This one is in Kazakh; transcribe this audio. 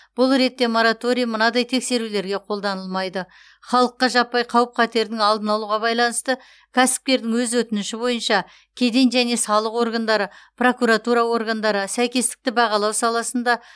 бұл ретте мораторий мынадай тексерулерге қолданылмайды халыққа жаппай қауіп қатердің алдын алуға байланысты кәсіпкердің өз өтініші бойынша кеден және салық органдары прокуратура органдары сәйкестікті бағалау саласында